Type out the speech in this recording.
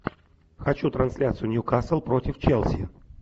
хочу трансляцию ньюкасл против челси